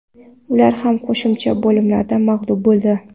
Ular ham qo‘shimcha bo‘limlarda mag‘lub bo‘ldi.